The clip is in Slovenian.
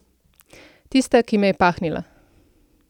Tista, ki me je pahnila.